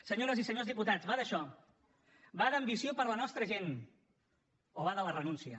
senyores i senyors diputats va d’això va d’ambició per la nostra gent o va de la renúncia